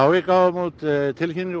við gáfum út tilkynningu og